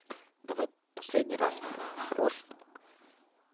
давай последний раз блять по-хорошему